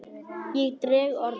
Ég dreg orðin.